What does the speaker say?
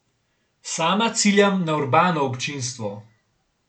Sama ciljam na urbano občinstvo.